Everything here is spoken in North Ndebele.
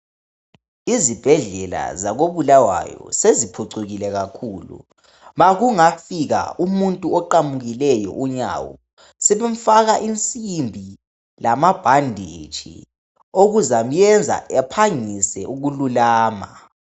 Izibhedlela zakoBulawayo seziphucukile kakhulu. Ma kungafika umuntu oqamukileyo unyawo, sebemfaka insimbi lamabhanditshi, okuzamenza aphangise ukululama.